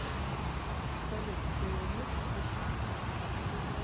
салют ты носишь юбки